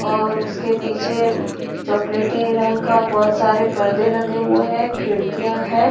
और उसके पीछे चॉकलेटी रंग का बहुत सारे पर्दे लगे हुए हैं खिडकियाँ हैं।